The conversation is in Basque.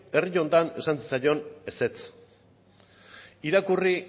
herri honetan esan zaion ezetz irakurri